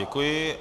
Děkuji.